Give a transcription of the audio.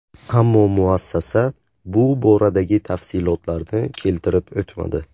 Ammo muassasa bu boradagi tafsilotlarni keltirib o‘tmadi.